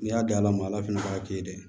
N'i y'a da a ma ala fana k'a kɛ ye dɛ